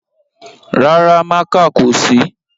Rárá, mákà kò sí